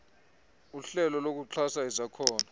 uhlelo lokuxhasa izakhono